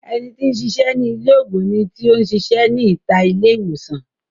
Ẹni tí ń sisẹ́ ní ilé ògùn ni tí ó ń sisẹ́ ní ìta ilé ìwòsàn